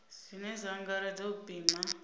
zwine zwa angaredza u pima